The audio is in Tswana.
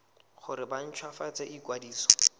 gore ba nt hwafatse ikwadiso